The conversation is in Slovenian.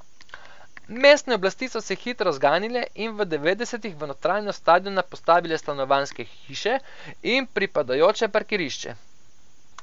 Mestne oblasti so se hitro zganile in v devetdesetih v notranjost stadiona postavile stanovanjske hiše in pripadajoče parkirišče.